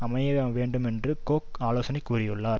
அமைய வேண்டுமென்று கொக் ஆலோசனை கூறியுள்ளார்